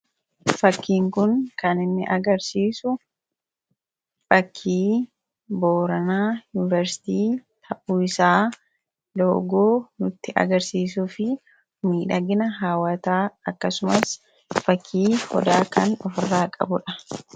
fakkiin kun kan inni agarsiisu fakkii booranaa yuuniversitii ta'uu isaa logoo nutti agarsiisuu fi miidhagina haawataa akkasumas fakkii odaa kan ofirraa qabudha